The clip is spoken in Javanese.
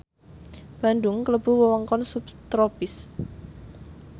Bandung klebu wewengkon subtropis